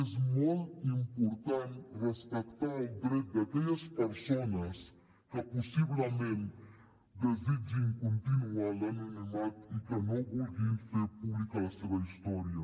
és molt important respectar el dret d’aquelles persones que possiblement desitgin continuar en l’anonimat i que no vulguin fer pública la seva història